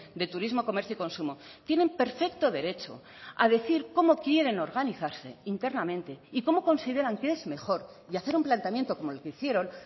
de turismo comercio y consumo tienen perfecto derecho a decir cómo quieren organizarse internamente y cómo consideran qué es mejor y hacer un planteamiento como el que hicieron